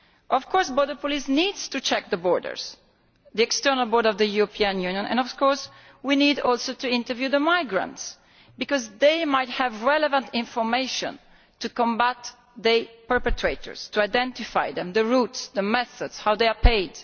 Of course border police need to check the borders, the external borders of the European Union, and of course we need to interview the migrants too, because they might have relevant information to combat the perpetrators, to identify them the roots, the methods, how they are paid.